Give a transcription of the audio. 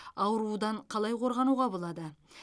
аурудан қалай қорғануға болады